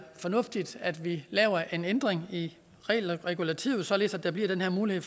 fornuftigt at vi laver en ændring i regulativet således at der bliver den her mulighed